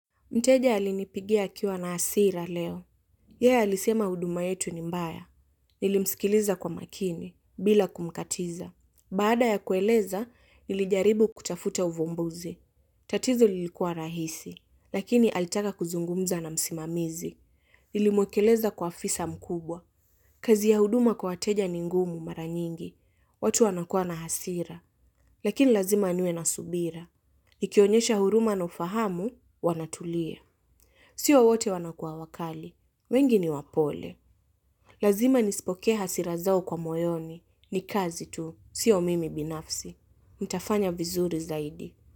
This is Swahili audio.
Mteja alinipigia akiwa na hasira leo. Yeye alisema huduma yetu ni mbaya. Nilimsikiliza kwa makini, bila kumkatiza. Baada ya kueleza, nilijaribu kutafuta uvumbuzi. Tatizo lilikuwa rahisi, lakini alitaka kuzungumza na msimamizi. Nilimwekeleza kwa afisa mkubwa. Kazi ya huduma kwa wateja ni ngumu mara nyingi. Watu wanakua na hasira. Lakini lazima niwe na subira. Nikionyesha huruma na ufahamu, wanatulia. Sio wote wanakua wakali. Wengi ni wapole. Lazima nispokee hasira zao kwa moyoni. Ni kazi tu. Sio mimi binafsi. Ntafanya vizuri zaidi.